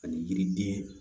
Ani yiriden